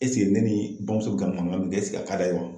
ne ni bamuso ka mankan min kɛ a ka d'a ye wa?